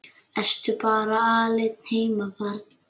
Ertu bara alein heima barn?